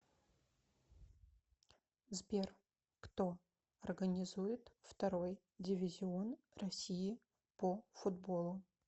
сбер кто организует второй дивизион россии по футболу